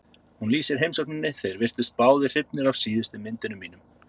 Hún lýsir heimsókninni: Þeir virtust báðir hrifnir af síðustu myndunum mínum.